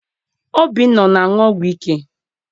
Obinna ana aṅụ ọgwụ ike?